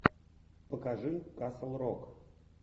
покажи касл рок